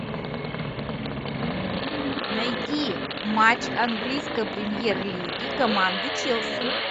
найти матч английской премьер лиги команды челси